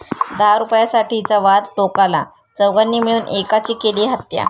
दहा रूपयांसाठीचा वाद टोकाला, चौघांनी मिळून एकाची केली हत्या